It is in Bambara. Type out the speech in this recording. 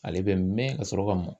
Ale bɛ mɛn ka sɔrɔ ka